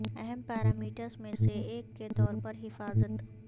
اہم پیرامیٹرز میں سے ایک کے طور پر حفاظت